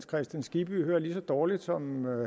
kristian skibby hører lige så dårligt som